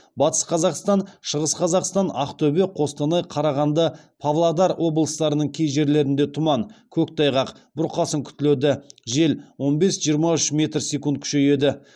батыс қазақстан шығыс қазақстан ақтөбе қостанай қарағанды павлодар облыстарының кей жерлерінде тұман көктайғақ бұрқасын күтіледі жел он бес жиырма үш метр секунд күшейеді